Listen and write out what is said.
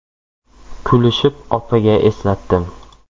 Kulishib opaga eslatdim.